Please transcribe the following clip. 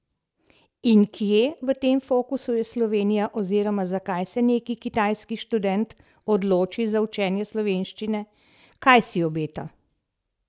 In kje v tem fokusu je Slovenija oziroma zakaj se neki kitajski študent odloči za učenje slovenščine, kaj si obeta?